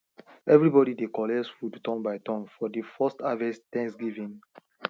everybody dey collect food turn by turn for the first harvest thanksgiving